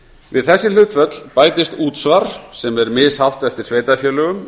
við þessi hlutföll bætist útsvar sem er mishátt eftir sveitarfélögum